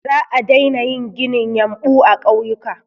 Za a daina yin ginin yumɓu a ƙauyuka.